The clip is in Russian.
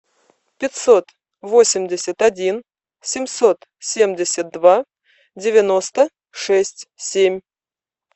пятьсот восемьдесят один семьсот семьдесят два девяносто шесть семь